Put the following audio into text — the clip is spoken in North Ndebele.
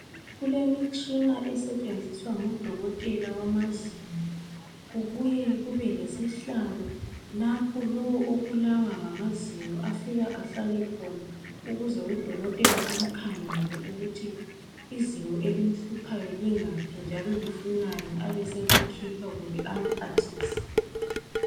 Kulemitshina esetshenziswa ngudokotela wamazinyo kubuye lesihlalo lapho lowu obulawa ngamazinyo afika ahlale khona ukuze udokotela amkhangele ukuthi izinyo elimhluphayo lingaphi njalo lifunani abeselikhipha kumbe amphathise.